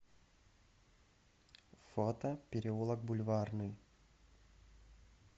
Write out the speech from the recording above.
фото переулок бульварный